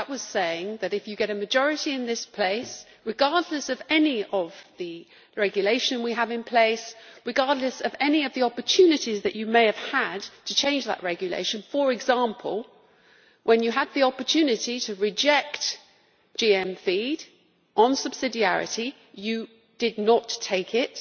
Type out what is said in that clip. That was saying, Commissioner, that if you get a majority in this place, regardless of any of the regulations in place and regardless of any of the opportunities that you may have had to change that regulation for example when you had the opportunity to reject GM feed on subsidiarity grounds, you did not take it,